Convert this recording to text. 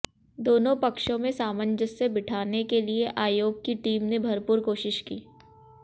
दोनों पक्षों में सामंजस्य बिठाने के लिए आयोग की टीम ने भरपूर कोशिश की